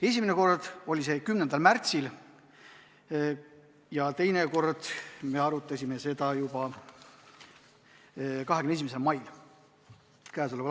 Esimene arutelu oli 10. märtsil, teine kord me arutasime seda 21. mail.